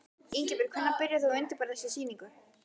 Ingibjörg, hvenær byrjaðir þú að undirbúa þessa sýningu?